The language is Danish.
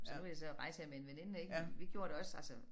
Så nu jeg så rejser jeg med en veninde ik vi gjorde det også altså